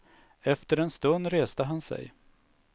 Efter en stund reste han sig.